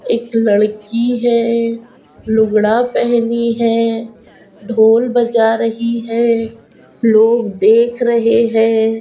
एक लड़की है लुगड़ा पहनी है ढोल बजा रही है लोग देख रहे है।